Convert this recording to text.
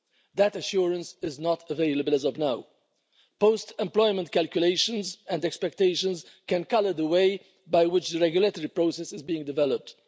That assurance is not available as of now. Post employment calculations and expectations can colour the way in which the regulatory process is being developed.